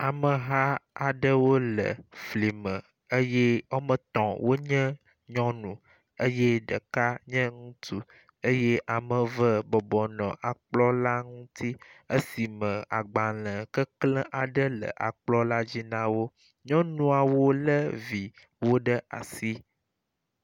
Ameha aɖewo le fli me eye wome etɔ̃ wonye nyɔnu eye ɖeka nye ŋutsu eye ame eve bɔbɔ nɔ kplɔ̃ la ŋuti esi me agbalẽ keklẽ aɖe le akplɔ̃ la dzi na wo. Nyɔnuawo lé viwo ɖe asi.